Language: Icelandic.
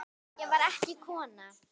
Ég var ekki kona!